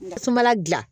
Ka suma dilan